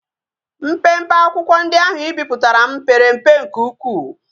Mpempe akwukwo ndi ahu i biputara m pere mpe nke ukwu